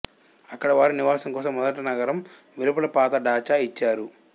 అక్కడ వారి నివాసం కోసం మొదట నగరం వెలుపల పాత డాచా ఇచ్చారు